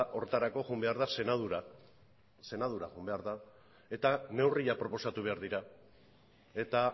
horretarako joan behar da senatura senatura joan behar da eta neurriak proposatu behar dira eta